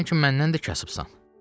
Sən ki məndən də kasıbsan.